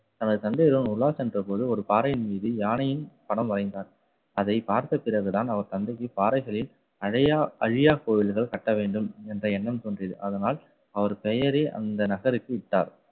தனது தந்தையருடன் உலா சென்ற போது ஒரு பாறையின் மீது யானையின் படம் வரைந்தார். அதை பிறகுதான் அவர் தந்தைக்கு பாறைகளில் அழையா~ அழியா கோயில்கள் கட்ட வேண்டும் என்ற எண்ணம் தோன்றியது. அதனால் அவர் பெயரே அந்த நகருக்கு இட்டார்.